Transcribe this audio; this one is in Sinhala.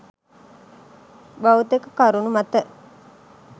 භෞතික කරුණු මත